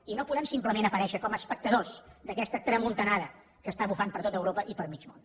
i no podem simplement aparèixer com a espectadors d’aquesta tramuntanada que està bufant per tot europa i per mig món